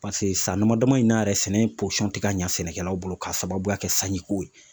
paseke san dama dama in na yɛrɛ, sɛnɛ posɔn tɛ ka ɲɛ sɛnɛkɛlaw bolo k'a sababuya kɛ sanji ko ye.